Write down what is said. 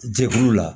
Jɛkuluw la